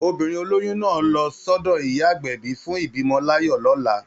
Obìnrin oloyun náà á lọ sọ́dọ̀ ìyá agbẹ̀bí fún ìbímọ láyọ̀ lọ́la